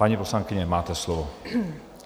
Paní poslankyně, máte slovo.